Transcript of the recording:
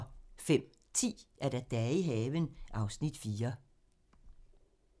05:10: Dage i haven (Afs. 4)